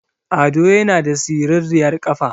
Ado yana da siriryar ƙafa